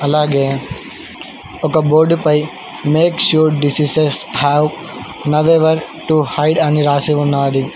అలాగే ఒక బోర్డుపై make sure diseases have nowhere to hide అని రాసి ఉన్నది.